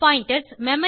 pointers